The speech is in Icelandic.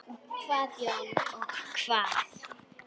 Og hvað Jón, og hvað?